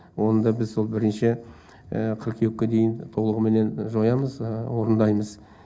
оны да біз сол бірінші қыркүйекке дейін толығыменен жоямыз орындаймыз